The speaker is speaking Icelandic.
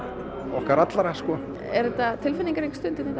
okkar allra sko er þetta tilfinningarík stund hérna í